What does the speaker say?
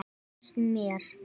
Það finnst mér.